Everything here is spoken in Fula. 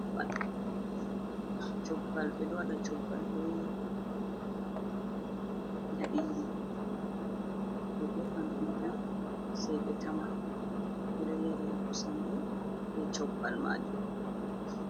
Cobbal ɓe ɗo waɗa cobbal be yaɗiiri, ɓe defa sey ɓe tama, ɓe ɗo yarida kosam bo, be cobbal maajum.